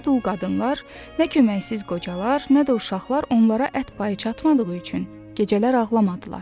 Nə dul qadınlar, nə köməksiz qocalar, nə də uşaqlar onlara ət payı çatmadığı üçün gecələr ağlamadılar.